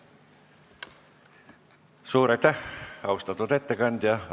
Suur aitäh, austatud ettekandja!